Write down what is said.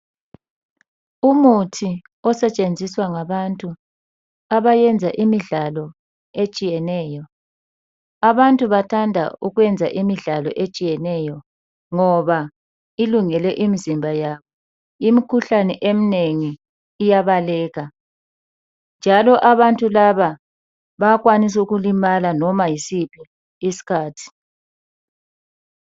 Umuthi osetshenziswa ngabantu abayenza ezemidlalo etshiyeneyo abantu bathanda ukuyenza imidlalo etshiyeneyo ngoba ilungele imizimba yabo imkhuhlane emnengi njalo abantu laba bayakwanisa ukulima